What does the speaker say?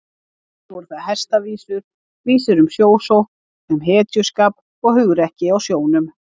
Fyrst eru það hestavísur, vísur um sjósókn, um hetjuskap og hugrekki á sjónum.